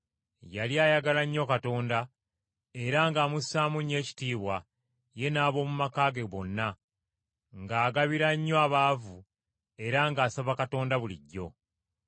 Yali ayagala nnyo Katonda era ng’amusaamu nnyo ekitiibwa, ye n’ab’omu maka ge bonna, ng’agabira nnyo abaavu, era ng’asaba Katonda bulijjo.